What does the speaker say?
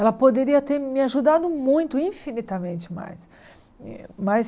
Ela poderia ter me ajudado muito, infinitamente mais. Mas